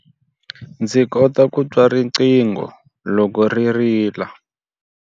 Ndzi kota ku twa riqingho loko ri rila.